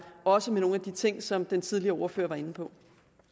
også med nogle af de ting som den tidligere ordfører var inde på